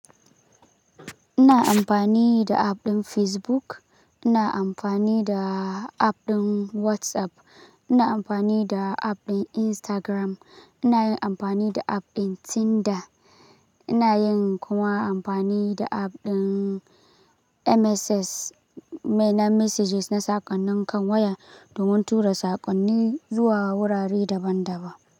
Ina amfani da app ɗin Facebook, ina amfani da app ɗin WhatsApp, ina amfani da app ɗin Instagram, ina yin amfani da app ɗin Tinder, ina yin kuma amfani da app ɗin MSS mai na messages na sakonni kan waya domin tura sakonni zuwa wurare daban-daban.